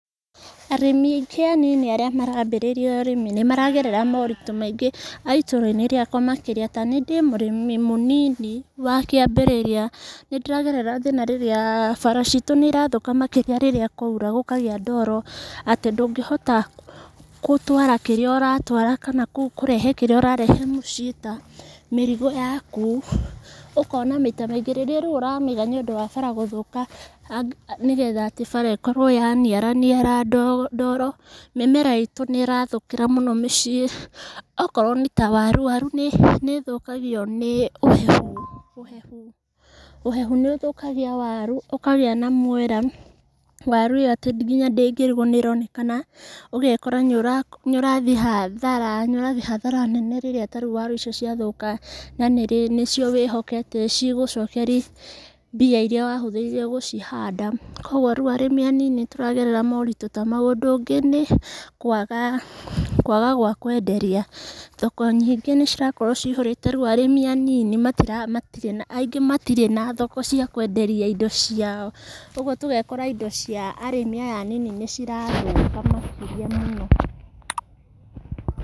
Arĩmi aingĩ anini arĩa marambĩrĩria ũrĩmi nĩmaragerera maũritũ maingĩ a itũra-inĩ rĩakwa makĩria, taniĩ ndĩ mũrĩmi mũnini wa kĩambĩrĩriua. Nĩndĩragerera thĩna rĩrĩa, bara citũ nĩirathũka mũno makĩria rĩrĩa kwaura, gũkagĩa ndoro atĩ ndũngĩhota gũtwara kĩrĩa ũratwara kana kũrehe kĩrĩa ũrarehe mũciĩ ta mĩrigo yaku, ũkona maita maingĩ rĩrĩa rĩu ũramĩiga nĩũndũ wa bara gũthũka, nĩgetha atĩ bara ĩkorwo yaniara niara ndoro, mĩmera itũ nĩ ĩrathũkĩra mũno mĩciĩ, akorwo nĩ ta waru, waru nĩũthũkagio nĩ ũhehu, ũhehu, ũhehu nĩũthũkagia waru, ũkagĩa na mwera, waru ĩyo atĩ nginya ndĩngĩrwo nĩ ĩronekana, ũgekora nĩũrathiĩ hathara, nĩũrathiĩ hathara nene rĩrĩa tarĩu waru icio ciathũka, na nĩcio wĩhokete cigũcokerie mbia iria wahũthĩrire gũcihanda, koguo rĩu arĩmi anini nĩtũragerera maũritũ ta mau. Ũndũ ũngĩ nĩkwaga gwakwenderia, thoko nyingĩ nĩcirakorwo cihũrĩte, rĩu arĩmi anini aingĩ matirĩ na thoko cia kwenderia indo ciao, ũguo tũgakora indo cia arĩmi aya anini nĩcirathũka makĩria mũno.